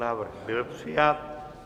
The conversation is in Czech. Návrh byl přijat.